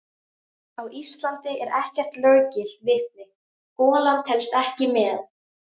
Á Íslandi er ekkert löggilt vitni: golan telst ekki með.